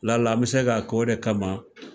La la an bɛe se ka k'o de kama